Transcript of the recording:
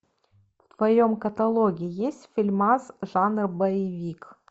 в твоем каталоге есть фильмас жанра боевик